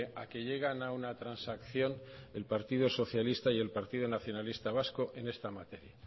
a que llegan a una transacción el partido socialista y el partido nacionalista vasco en esta materia